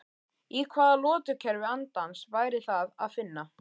Í hvaða lotukerfi andans væri það að finna?